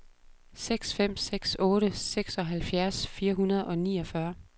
seks fem seks otte seksoghalvfjerds fire hundrede og niogfyrre